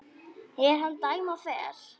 er hann dæma fer